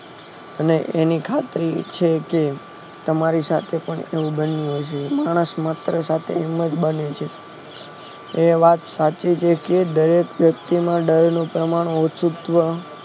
અને એની ખાતરી છેક તમારી સાથે પણ એવું બન્યું હશે માણસ માત્ર સાથે હિમત બને છે એ વાત સાચી છે કે દરેક વ્યક્તિમાં ડરનું પ્રમાણ ઓછુ જ